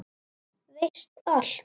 Veist allt.